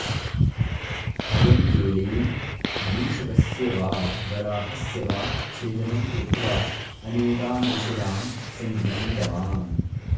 अयं गेलेन् मूषकस्य वा वराहस्य वा छेदनं कृत्वा अनेकान् विषयान् सङ्गृहीतवान्